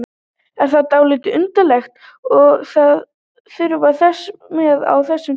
Er það ekki dálítið undarlegt að það þurfi þess með á þessum tíma?